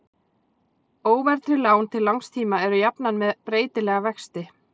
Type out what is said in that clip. óverðtryggð lán til langs tíma eru jafnan með breytilega vexti